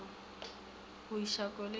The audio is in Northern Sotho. go iša koloi mo go